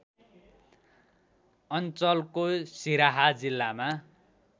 अञ्चलको सिराहा जिल्लामा